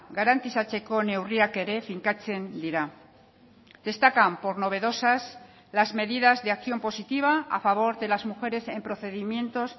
garantizatzeko neurriak ere finkatzen dira destacan por novedosas las medidas de acción positiva a favor de las mujeres en procedimientos